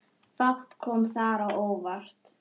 Fátt kom þar á óvart.